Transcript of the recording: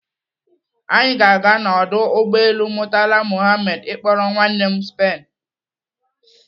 Anyị ga-aga na ọdụ ụgbọelu Murtala Muhammed ịkpọrọ nwanne m Spain.